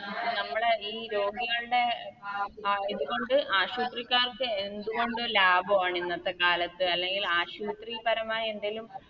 നമ്മളെ ഈ രോഗികളുടെ ഇത് കൊണ്ട് ആശുത്രിക്കാർക്ക് എന്ത്കൊണ്ടും ലബവാണ് ഇന്നത്തെ കാലത്ത് അല്ലെങ്കിൽ ആശുത്രി പരമായ എന്തേലും